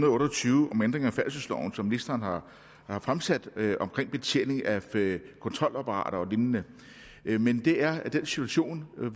otte og tyve om ændring af færdselsloven som ministeren har har fremsat omkring betjening af kontrolapparater og lignende men det er den situation